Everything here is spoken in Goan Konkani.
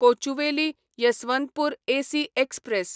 Kochuveli Yesvantpur AC express